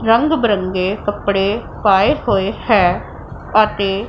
ਰੰਗ ਬਰੰਗੇ ਕੱਪੜੇ ਪਾਏ ਹੋਏ ਹੈ ਅਤੇ।